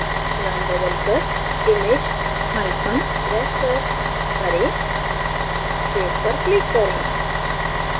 name बदलकर imageraster करें save पर click करें